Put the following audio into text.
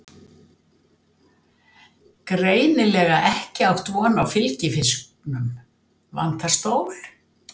Greinilega ekki átt von á fylgifisknum, vantar stól.